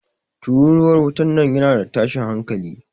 Tururuwar wutan nan yana da tashin hanƙali.